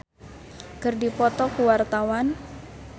Uyan Suryana jeung Kajol keur dipoto ku wartawan